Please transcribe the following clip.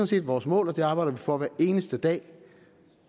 set vores mål og det arbejder vi for hver eneste dag